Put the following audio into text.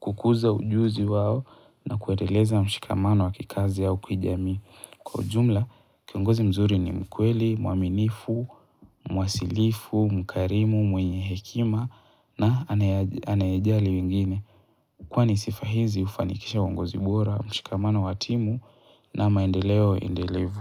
kukuza ujuzi wao na kuendeleza mshikamano wa kikazi au kijamii. Kwa ujumla, kiongozi mzuri ni mkweli, mwaminifu, mwasilifu, mkarimu, mwenye hekima na anayejali wengine. Kwani sifa hizi hufanikisha uongozi bora, mshikamano wa timu na maendeleo endelevu.